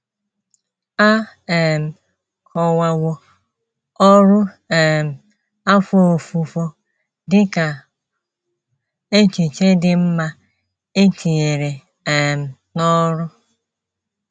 A um kọwawo ọrụ um afọ ofufo dị ka “ echiche dị mma e tinyere um n’ọrụ. ”